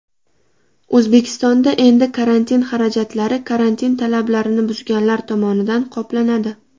O‘zbekistonda endi karantin xarajatlari karantin talablarini buzganlar tomonidan qoplanadi.